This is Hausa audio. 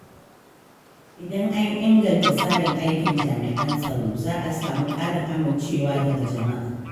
Idan an inganta tsarin aikin jami’an tsaro, za a samu ƙarin amincewa daga jama’a.